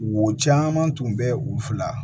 Wo caman tun bɛ u fila